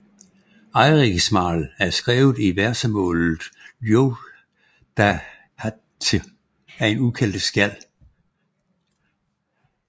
Eiríksmál er skrevet i versemålet ljóðaháttr af en ukendt skjald